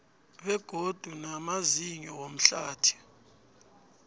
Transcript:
begodu namazinyo womhlathi